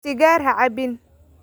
Sigaar ha cabbin